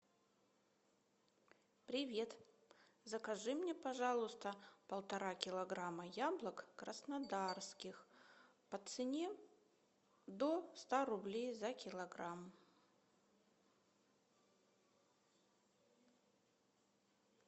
привет закажи мне пожалуйста полтора килограмма яблок краснодарских по цене до ста рублей за килограмм